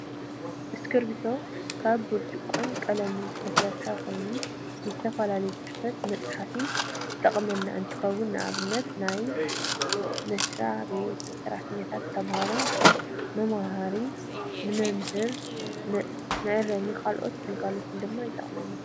እስክርፒቶ ካብ ብርጭቆን ቀለምን ዝተሰረሓ ኮይኑ፣ ንዝተፈላለዩ ፅሕፈታት ንመፅሓፊ ዝጠቅም እንትከውን፣ ንኣብነት ንናይ መስራቤት ሰራሕተኛታትን ንተማሃሮ መምሃሪ ንመምህር መእረምን ንካልኦትን ግልጋሎት ድማ ይጠቀመና።